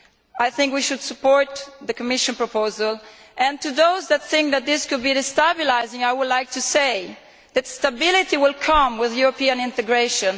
I think we should support the Commission proposal, and, to those who think that this could be destabilising, I would like to say that stability will come with European integration.